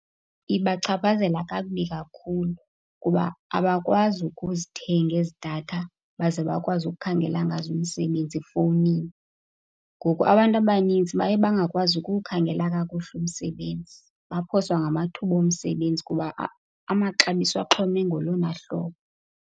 Ibachaphazela kakubi kakhulu kuba abakwazi ukuzithenga ezi datha baze bakwazi ukukhangela ngazo imisebenzi efowunini. Ngoku abantu abanintsi baye bangakwazi ukuwukhangela kakuhle umsebenzi, baphoswa ngamathuba omsebenzi kuba amaxabiso axhome ngolona hlobo.